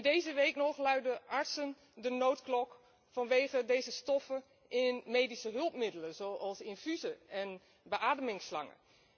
Deze week nog luidden artsen de noodklok vanwege deze stoffen in medische hulpmiddelen, zoals infusen en beademingsslangen.